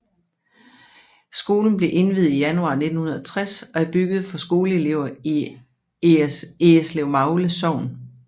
Skolen blev indviet i januar 1960 og er bygget for skoleelever i Eggeslevmagle Sogn